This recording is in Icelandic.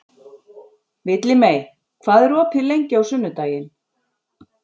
Villimey, hvað er opið lengi á sunnudaginn?